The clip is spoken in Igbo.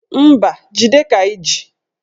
Mba, jide ka iji